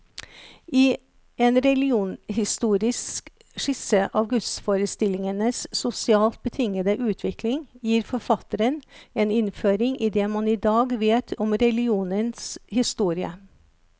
I en religionshistorisk skisse av gudsforestillingenes sosialt betingede utvikling, gir forfatteren en innføring i det man i dag vet om religionens historie.